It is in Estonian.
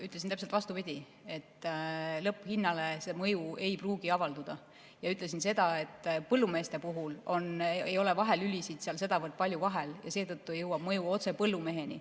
Ütlesin täpselt vastupidi, et lõpphinnale mõju ei pruugi avalduda, ja ütlesin seda, et põllumeeste puhul ei ole vahelülisid seal sedavõrd palju vahel, seetõttu jõuab mõju otse põllumeheni.